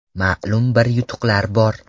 Ma’lum bir yutuqlar bor.